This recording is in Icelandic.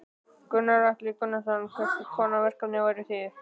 Gunnar Atli Gunnarsson: Hvers konar verkefni væru það?